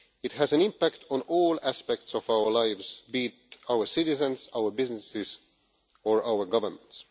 It has an impact on all aspects of our lives, be it our citizens, our businesses or our governments.